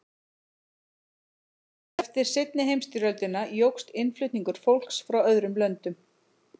eftir seinni heimsstyrjöldina jókst innflutningur fólks frá öðrum löndum